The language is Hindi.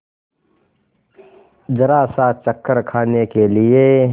जरासा चक्कर खाने के लिए